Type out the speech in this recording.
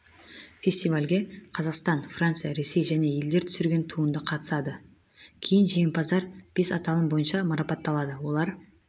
фестивальге қазақстан франция ресей және елдер түсірген туынды қатысады кейін жеңімпаздар бес аталым бойынша марапатталады олар